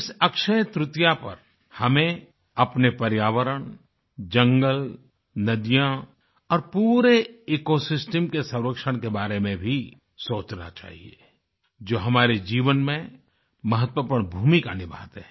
इस अक्षयतृतीया पर हमें अपने पर्यावरण जंगल नदियाँ और पूरे इकोसिस्टम के संरक्षण के बारे में भी सोचना चाहिए जो हमारे जीवन में महत्वपूर्ण भूमिका निभाते हैं